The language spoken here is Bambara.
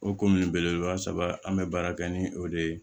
O kun ye belebeleba saba an bɛ baara kɛ ni o de ye